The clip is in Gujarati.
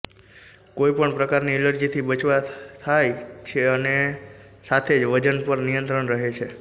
કોઈ પણ પ્રકારની એલર્જીથી બચાવ થાય છે અને સાથે જ વજન પર નિયંત્રણ રહે છે